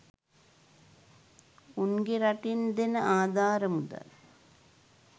උන්ගෙ රටින් දෙන ආධාර මුදල්